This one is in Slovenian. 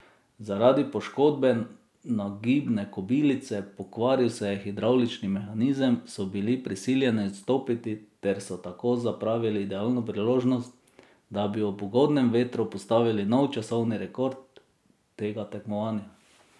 Zaradi poškodbe nagibne kobilice, pokvaril se je hidravlični mehanizem, so bili prisiljeni odstopiti ter so tako zapravili idealno priložnost, da bi ob ugodnem vetru postavili nov časovni rekord tega tekmovanja.